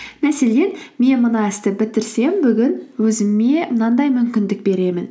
мәселен мен мына істі бітірсем бүгін өзіме мынандай мүмкіндік беремін